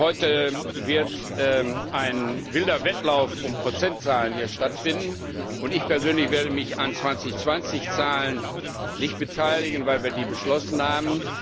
Heute wird ein wilder Wettlauf um Prozentzahlen hier stattfinden, und ich persönlich werde mich an 2020 Zahlen nicht beteiligen, weil wir die schon beschlossen haben.